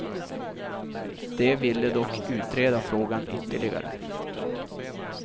De ville dock utreda frågan ytterligare.